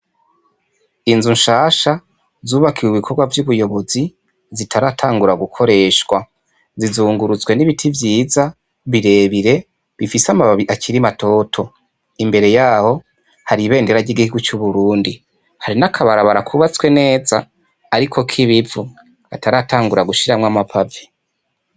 Inzu nshasha zubakiwe ibikorwa vyubuyobozi zitaratangura gukoreshwa zizungurutswe n'ibiti vyiza birebire bifise amababi akiri matoto imbere yaho hari ibendera ryigihugu c'uburundi hari n'akabarabara kubatswe neza ariko kibivu bataratangura gushiramwo amapave.